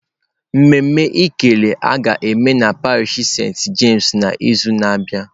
Mmemme ekele a ga-eme na parish senti James n'izu na-abịa.